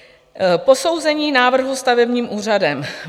Posouzení návrhu stavebním úřadem.